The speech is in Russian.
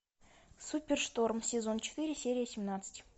супершторм сезон четыре серия семнадцать